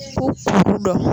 K'u furu dɔn